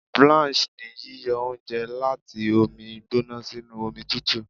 Blanch ni yíyọ oúnjẹ láti omi gbóná sínú omi tùtù.